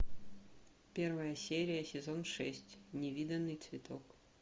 первая серия сезон шесть невиданный цветок